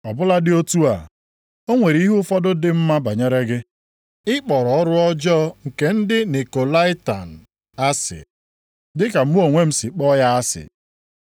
Ọ bụladị otu a, o nwere ihe ụfọdụ dị mma banyere gị. Ị kpọrọ ọrụ ọjọọ nke ndị Nikolaitan asị, dịka mụ onwe m si kpọọ ya asị.